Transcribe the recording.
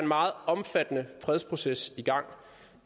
meget omfattende fredsproces i gang